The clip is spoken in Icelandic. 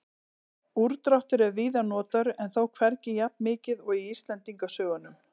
úrdráttur er víða notaður en þó hvergi jafnmikið og í íslendingasögunum